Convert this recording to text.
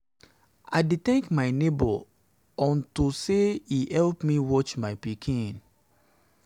i dey thank my neighbour unto my neighbour unto say e help me watch my pikin